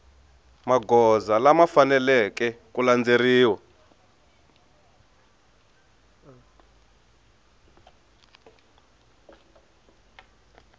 magoza lama faneleke ku landzeleriwa